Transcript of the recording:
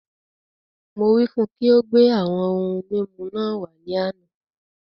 Mo wí fún ùn kí o gbé àwọn ohun mímu náà wàá ní àna